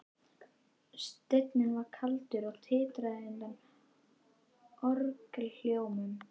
Steinninn var kaldur og titraði undan orgelhljómum.